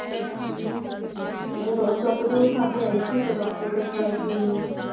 ਉਸ doctor ਨੂੰ ਵਿਖਾ ਕੇ ਆਏ ਸੀ ਤੇ doctor ਕਹਿੰਦਾ ਕਿ,